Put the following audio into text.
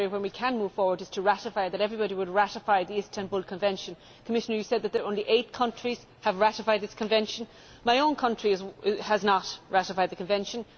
One area where we can move forward is to ratify for everybody to ratify the Istanbul Convention. Commissioner, you said that only eight countries have ratified this Convention. My own country has not ratified the Convention.